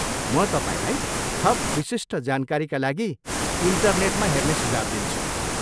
म तपाईँलाई थप विशिष्ट जानकारीका लागि इन्टरनेटमा हेर्ने सुझाव दिन्छु।